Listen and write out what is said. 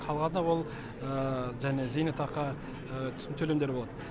қалғаны ол және зейнетақы төлемдері болады